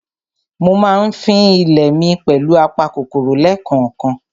Mo ma ń fín ilé mi pẹ̀lù apa kòkòrò lẹ́kànkan.